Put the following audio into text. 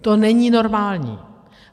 To není normální.